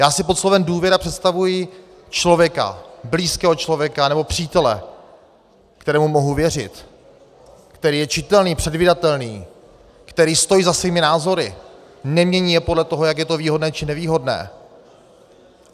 Já si pod slovem důvěra představuji člověka, blízkého člověka nebo přítele, kterému mohu věřit, který je čitelný, předvídatelný, který stojí za svými názory, nemění je podle toho, jak je to výhodné či nevýhodné.